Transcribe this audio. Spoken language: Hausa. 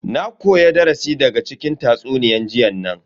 Na koya darasi daga cikin tatsuniyan jiyan nan.